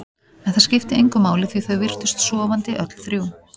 En það skipti engu máli því þau virtust sofandi, öll þrjú.